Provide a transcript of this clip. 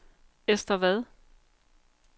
Ester Vad